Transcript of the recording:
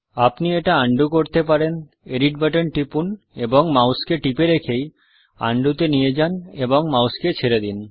আপনি এটা undoআন্ডুকরতে পারেন এডিট বাটন টিপুন এবং মাউসকে টিপে রেখেই উন্ডো তে নিয়ে যান এবং মাউসকে ছেড়ে দিন